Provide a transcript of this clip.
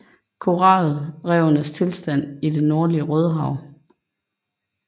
Koralrevenes tilstand i det nordlige Rødehav